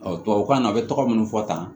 tubabukan na a bɛ tɔgɔ minnu fɔ tan